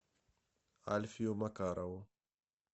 альфию макарову